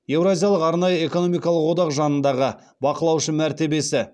еуразиялық арнайы экономикалық одақ жанындағы бақылаушы мәртебесі